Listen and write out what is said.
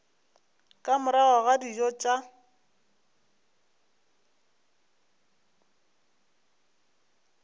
ka morago ga dijo tša